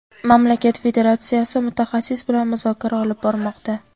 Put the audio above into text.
Mamlakat federatsiyasi mutaxassis bilan muzokara olib bormoqda.